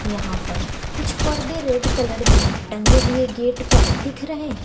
यहां पड कुछ पड़दे रेड कलर में टंगे हुए गेट पर दिख रहे हैं।